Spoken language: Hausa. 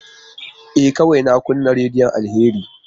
E, kawai na kunna rediyon Alheri.